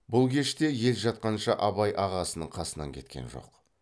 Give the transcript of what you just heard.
бұл кеште ел жатқанша абай ағасының қасынан кеткен жоқ